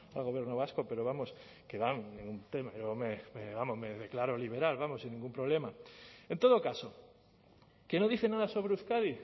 al gobierno vasco pero vamos que hombre vamos me declaro liberal vamos sin ningún problema en todo caso que no dice nada sobre euskadi